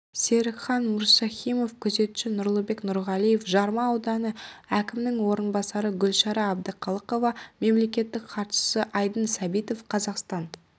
серікхан мұрсахимов күзетші нұрлыбек нұрғалиев жарма ауданы әкімінің орынбасары гүлшара әбдіқалықова мемлекеттік хатшысы айдын сәбитов қазақстан